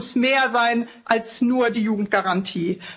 Das muss mehr sein als nur die Jugendgarantie.